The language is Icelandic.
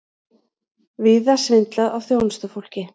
Víða svindlað á þjónustufólki